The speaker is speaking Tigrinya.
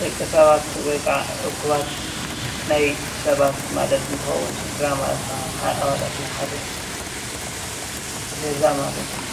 ደቂ ሰባት ወይክዓ እኩባት ናይ ሰባት ማለት እንትከውን፣ ስድራ ማለት ክዓ ኣባላት ናይ ሓደ ገዛ ማለት እዩ፡፡